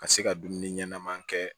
Ka se ka dumuni ɲɛnaman kɛ